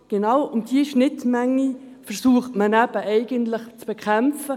Doch genau diese Schnittmenge versucht man eigentlich zu bekämpfen.